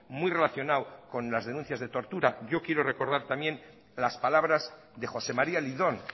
muy relacionado con las denuncias de tortura yo quiero recordar también las palabras de josé maría lidón